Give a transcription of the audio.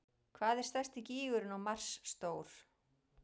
Hvað er stærsti gígurinn á Mars stór?